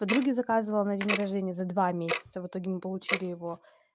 подруге заказывала на день рождения за два месяца в итоге мы получили его